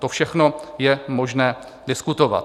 To všechno je možné diskutovat.